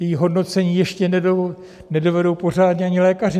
Její hodnocení ještě nedovedou pořádně ani lékaři.